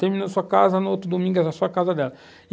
Terminou a sua casa, no outro domingo era a sua casa dela e,